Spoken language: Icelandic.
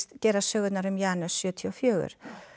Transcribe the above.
gerast sögurnar um Janus sjötíu og fjögur